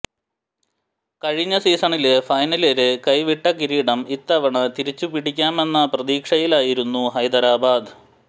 കഴിഞ്ഞ സീസണില് ഫൈനലില് കൈവിട്ട കിരീടം ഇത്തവണ തിരിച്ചുപിടിക്കാമെന്ന പ്രതീക്ഷയിലായിരുന്നു ഹൈദരാബാദ്